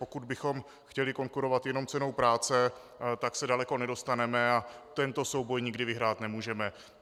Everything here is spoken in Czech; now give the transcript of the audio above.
Pokud bychom chtěli konkurovat jenom cenou práce, tak se daleko nedostaneme a tento souboj nikdy vyhrát nemůžeme.